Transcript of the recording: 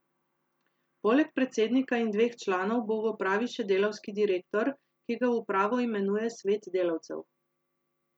Poleg predsednika in dveh članov bo v upravi še delavski direktor, ki ga v upravo imenuje svet delavcev.